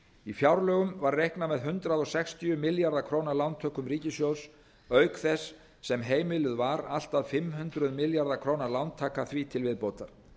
í fjárlögum var reiknað með hundrað sextíu milljarða króna lántökum ríkissjóðs auk þess sem heimiluð var allt að fimm hundruð milljarða króna lántaka því til viðbótar